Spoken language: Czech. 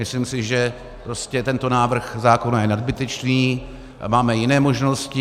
Myslím si, že prostě tento návrh zákona je nadbytečný, máme jiné možnosti.